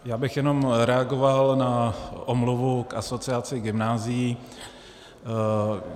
Já bych jenom reagoval na omluvu k Asociaci gymnázií.